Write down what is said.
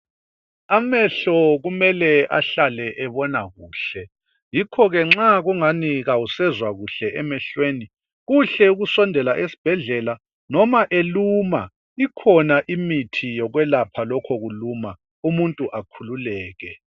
Amehlo kumele ahlale ebona kuhle yikho ke nxa kungani kawusezwa kuhle emehlweni ,kuhle ukusondela esbhedlela noma eluma ikhona imithi yokwelapha lokho kuluma umuntu akhululeke.